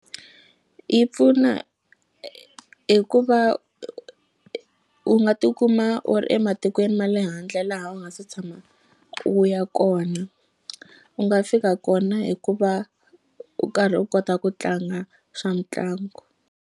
Yi pfuna hi ku va u nga tikuma u ematikweni ma le handle laha u nga se tshama u ya kona u nga fika kona hi ku va u karhi u kota ku tlanga swa mitlangu.